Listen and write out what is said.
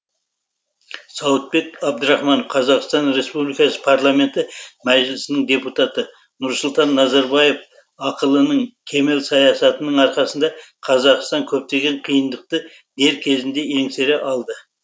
сауытбек абдрахманов қазақстан республикасы парламенті мәжілісінің депутаты нұрсұлтан назарбаев ақылының кемел саясатының арқасында қазақстан көптеген қиындықты дер кезінде еңсере алды